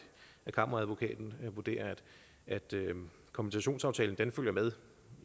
kammeradvokaten vurderer at kompensationsaftalen følger med